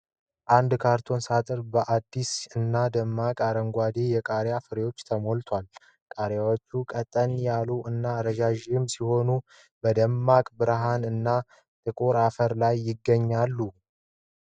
አንድ ካርቶን ሣጥን በአዲስ እና ደማቅ አረንጓዴ የቃሪያ ፍሬዎች ተሞልቷል። ቃሪያዎቹ ቀጠን ያሉ እና ረዣዥም ሲሆኑ፣ በደማቅ ብርሃን እና ከጥቁር አፈር ላይ ይገኛሉ።